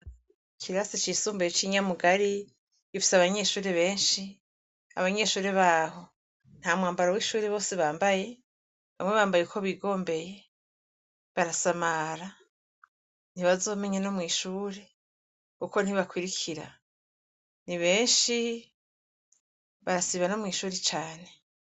Ikirasi cisumbuye ci Nyamugari, gifise abanyeshure benshi . Abanyeshure baho ntamwambaro wishure bose bambaye ,bamwe bambaye uko bigombeye, barasamara, ntibazomenya no mwishure kuko ntibakurikira nibenshi barasiba no mwishure cane.